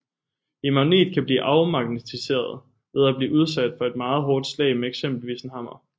En magnet kan blive afmagnetiseret ved at blive udsat for et meget hårdt slag med eksempelvis en hammer